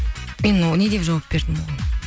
мен не деп жауап бердім оған